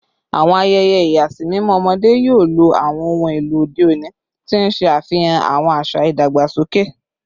Awọn ayẹyẹ ìyàsímímọ ọmọde yoo lo awọn ohun elo ode oni ti n ṣe afihan awọn aṣa idagbasoke